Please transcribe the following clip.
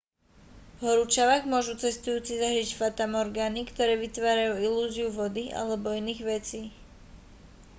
v horúčavách môžu cestujúci zažiť fatamorgány ktoré vytvárajú ilúziu vody alebo iných vecí